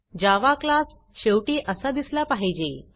जावा class शेवटी असा दिसला पाहिजे